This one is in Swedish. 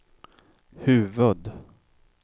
huvud-